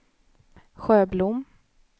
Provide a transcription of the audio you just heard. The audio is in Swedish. Sjöblom